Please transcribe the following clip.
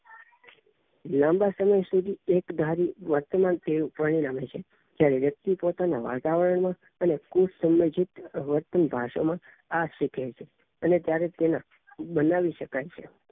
લાંબા સમય સુધી એક ધારી વર્તમાન શ્રેણી આવે છે ત્યારે વ્યક્તિ પોતાના વાતાવરણને અને કુસામાજિક વર્તન માં આ શીખે છે અને ત્યારે જ તેના બનાવી શકાય છે